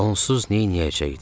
Onsuz neyləyəcəkdim?